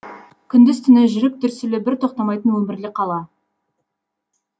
күндіз түні жүрек дүрсілі бір тоқтамайтын өмірлі қала